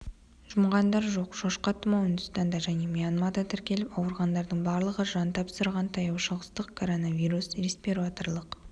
жұмғандар жоқ шошқа тұмауы үндістанда және мьянмада тіркеліп ауырғандардың барлығы жан тапсырған таяушығыстық коронавирус респираторлық